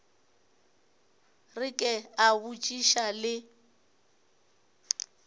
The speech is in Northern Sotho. re ke a botšiša le